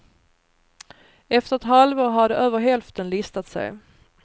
Efter ett halvår hade över hälften listat sig.